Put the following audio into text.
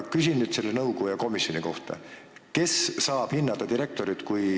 Küsin nüüd selle komisjoni kohta: kes ikkagi saab hinnata direktorit?